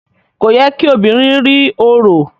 Kò yẹ kí obìnrin rí orò.